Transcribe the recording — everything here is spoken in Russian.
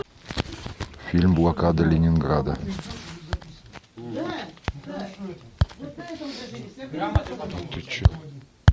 фильм блокада ленинграда